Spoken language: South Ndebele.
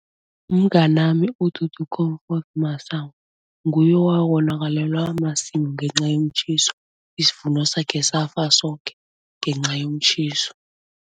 Mnganami uDudu Comfort Masango, nguye owawonakalelwa masimu ngenca yomtjhiso, isivuno sakhe safa soke ngenca yomtjhiso.